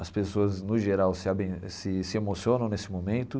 As pessoas, no geral, se aben se se emocionam nesse momento.